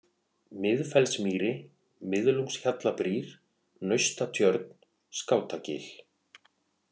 Miðfellsmýri, Miðlungshjallabrýr, Naustatjörn, Skátagil